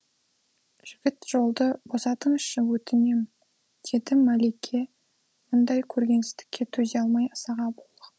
жігіт жолды босатыңызшы өтінем деді мәлике мұндай көргенсіздікке төзе алмай ызаға булығып